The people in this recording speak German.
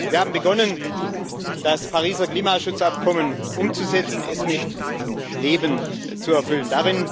Wir haben begonnen, das Pariser Klimaschutzabkommen umzusetzen, es mit Leben zu erfüllen.